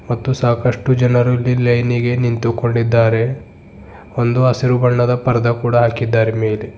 ಮತ್ತು ಸಾಕಷ್ಟು ಜನರು ಇಲ್ಲಿ ಲೈನಿ ಗೆ ನಿಂತು ಕೊಂಡಿದ್ದಾರೆ ಒಂದು ಹಸಿರು ಬಣ್ಣದ ಪರದಾ ಕೂಡ ಹಾಕಿದ್ದಾರೆ ಮೇಲೆ--